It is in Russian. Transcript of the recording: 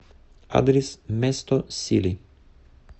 адрес место сили